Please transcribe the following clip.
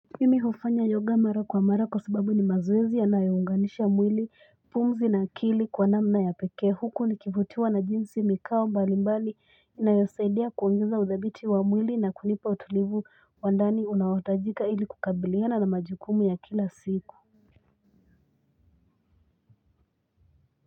Mimi hufanya yoga mara kwa mara kwa sababu ni mazoezi yanayonganisha mwili pumzi na akili kwa namna ya peke huku nikivutiwa na jinsi mikao mbali mbali inayosaidia kuongeza udhabiti wa mwili na kunipa utulivu wa ndani unaotajika ili kukabiliana na majukumu ya kila siku.